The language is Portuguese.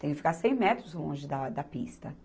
Tem que ficar cem metros longe da, da pista.